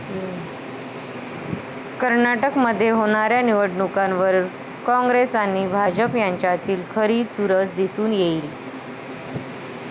कर्नाटक मध्ये होणाऱ्या निवडणुकांवर काँग्रेस आणि भाजप यांच्यातली खरी चुरस दिसून येईल.